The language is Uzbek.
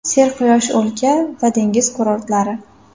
Serquyosh o‘lka va dengiz kurortlari.